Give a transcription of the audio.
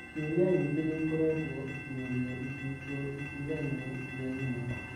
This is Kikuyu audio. Cioria nyingĩ nĩĩkoretwo ikĩũrio icigo itigaine thĩ ng'ima.